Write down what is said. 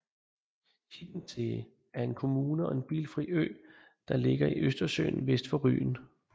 Hiddensee er en kommune og en bilfri ø der ligger i Østersøen vest for Rügen